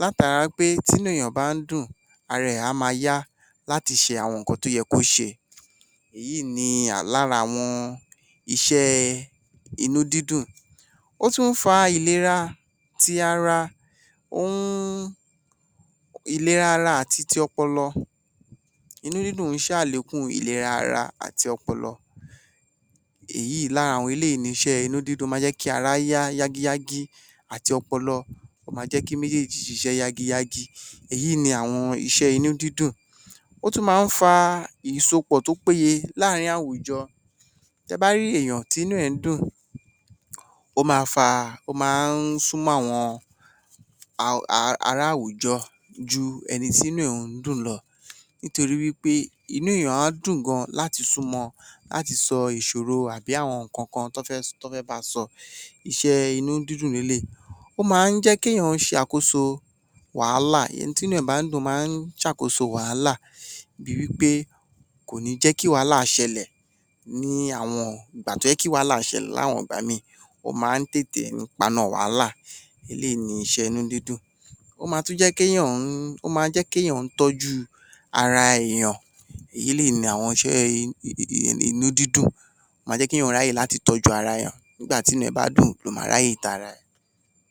látara pé tí inú èèyàn bá dùn, ara ẹ̀ á máa yá láti ṣe àwọn ǹnkan tó yẹ kí ó ṣe, èyí ni lára iṣẹ́ àwọn inú-dídùn. Ó tún fa ìlera ti ara, ìlera ara àti ti ọpọlọ, inú-dídùn ń ṣe àlékùn ìlera ara àti ọpọlọ, lára àwọn eléyìí ni iṣẹ́ inú-dídùn, ó máa jẹ́ kí ara yá yágiyágí àti ọpọlọ, ó máa jẹ́ kí méjèjì ṣiṣẹ́ yágiyági, èyí ni àwọn iṣẹ́ inú-dídùn. Ó tún máa ń fa ìsopọ̀ tó péyé láàrin àwùjọ, tẹ ba rí èèyàn tí inú rẹ̀ ń dùn, ó máa ń súmọ́ àwọn ará-àwùjọ ju ẹni tí inú rẹ̀ ò ń dùn lọ, nítorí wí pé inú èèyàn á dùn gan láti súmọ, láti sọ ìṣòro tàbí àwọn ǹnkan kan tọ́ fẹ́ ba sọ, iṣẹ́ inú-dídùn ni eléyìí. Ó máa ń jẹ́ kí èèyàn ṣe àkoso wàhálà, ẹni tí inú ẹ̀ bá ń dùn máa ń ṣàkoso wàhálà bí i wí pé, kò ní jẹ́ kí wàhálà ṣẹlẹ̀ ní àwọn ìgbà tó yẹ kí wàhálà ṣẹlẹ̀, láwọn ìgbà mìí, ó máa ń tètè paná wàhálà, eléyìí ni iṣẹ́ inú-dídùn. Ó máa ń tún jẹ́ kí èèyàn tọ́jú ara èèyàn, eléyìí ni àwọn iṣẹ́ inú-dídùn, ó máa jẹ́ kí èèyàn ráyè láti tọ́jú ara èèyàn, nígbà tí ẹ̀ bá dùn ló máa ráyè tara ẹ̀.